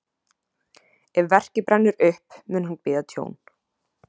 Ef verkið brennur upp, mun hann bíða tjón.